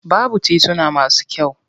Babu tituna masu kyau.